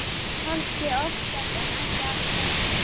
Kannski oftast en ekki alltaf.